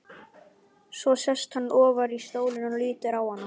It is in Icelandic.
Svo sest hann ofar í stólinn og lítur á hana.